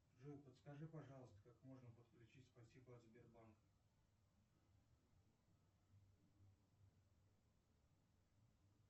джой подскажи пожалуйста как можно подключить спасибо от сбербанка